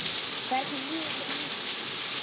Hvernig líður þér núna?